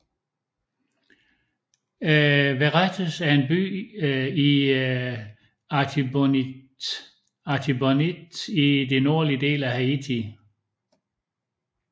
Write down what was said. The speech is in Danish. Verrettes er en by i Artibonite i den nordlige del af Haiti